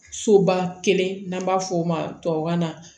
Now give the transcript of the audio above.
Soba kelen n'an b'a f'o ma tubabukan na